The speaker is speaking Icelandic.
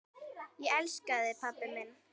Ég elska þig, pabbi minn.